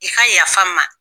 I ka yafa n ma.